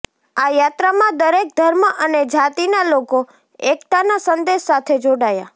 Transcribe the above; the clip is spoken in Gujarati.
આ યાત્રામાં દરેક ધર્મ અને જાતિનાં લોકો એક્તાનાં સંદેશ સાથે જોડાયા